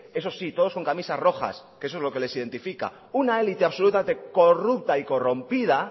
eso sí todos con camisas rojas que es eso lo que les identifica una élite absolutamente corrupta y corrompida